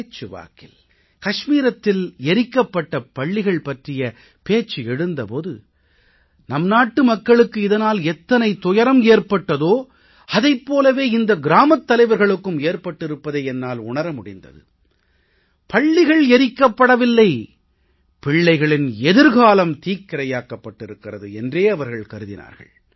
பேச்சு வாக்கில் கஷ்மீரத்தில் எரிக்கப்பட்ட பள்ளிகள் பற்றிய பேச்சு எழுந்த போது நம் நாட்டுமக்களுக்கு இதனால் எத்தனை துயரம் ஏற்பட்டதோ அதைப் போலவே இந்த கிராமத் தலைவர்களுக்கும் ஏற்பட்டிருப்பதை என்னால் உணர முடிந்தது பள்ளிகள் எரிக்கப்படவில்லை பிள்ளைகளின் எதிர்காலம் தீக்கிரையாக்கப் பட்டிருக்கிறது என்றே அவர்கள் கருதினார்கள்